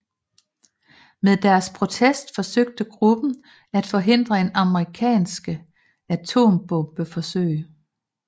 Med deres protest forsøgte gruppen at forhindre en amerikanske atombombeforsøg